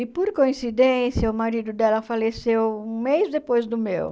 E por coincidência, o marido dela faleceu um mês depois do meu.